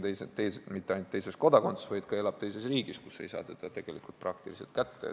Ta ei ole mitte ainult teises kodakondsuses, vaid ka elab teises riigis, kust ei saa teda tegelikult praktiliselt kättegi.